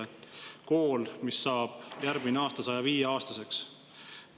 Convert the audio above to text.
See on kool, mis saab järgmisel aastal 105-aastaseks.